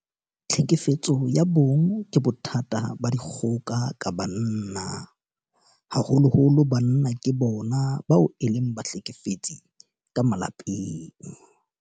Tlhekefetso ya bong ke bothata ba dikgoka ka banna. Haholoholo banna ke bona bao e leng bahlekefetsi ka malapeng.